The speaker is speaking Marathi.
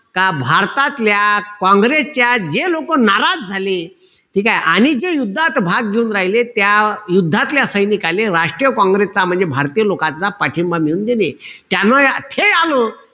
का भारतातल्या काँग्रेसच्या जे लोकं नाराज झाले. ठीकेय? आणि जे युद्धात भाग घेऊन राहिले, त्या युद्धातल्या सैनिकाले राष्ट्रीय काँग्रेसचा म्हणजे भारतीय लोकांचा पाठिंबा मिळून देणे. त्यानं या खेळान,